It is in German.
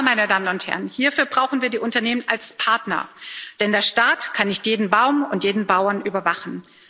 Aber, meine Damen und Herren, hierfür brauchen wir die Unternehmen als Partner, denn der Staat kann nicht jeden Baum und jeden Bauern überwachen.